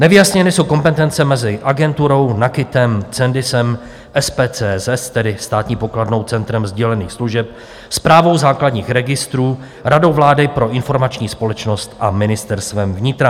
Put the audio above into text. Nevyjasněny jsou kompetence mezi agenturou, NAKITem, Cendisem, SPCSS, tedy Státní pokladnou Centrem sdělených služeb, Správou základních registrů, Radou vlády pro informační společnost a Ministerstvem vnitra.